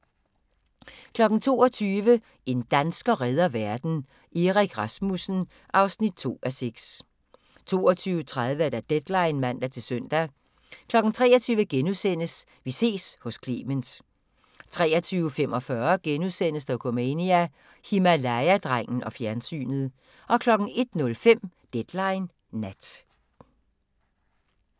22:00: En dansker redder verden – Erik Rasmussen (2:6) 22:30: Deadline (man-søn) 23:00: Vi ses hos Clement * 23:45: Dokumania: Himalaya-drengen og fjernsynet * 01:05: Deadline Nat